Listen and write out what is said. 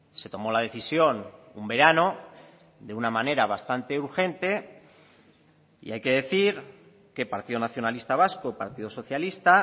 se tomó la decisión un verano de una manera bastante urgente y hay que decir que partido nacionalista vasco partido socialista